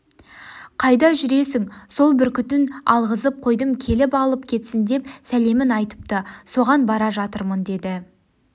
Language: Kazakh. қайда жүресің сол бүркітін алғызып қойдым келіп алып кетсін деп сәлем айтыпты соған бара жатырмын деді